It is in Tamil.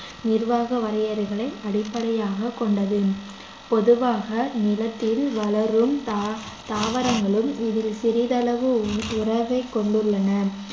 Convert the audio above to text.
நிர்வாக வரையறைகளை அடிப்படையாகக் கொண்டது பொதுவாக நிலத்தில் வளரும் தா~ தாவரங்களும் இதில் சிறிதளவு உ~ உறவைக் கொண்டுள்ளன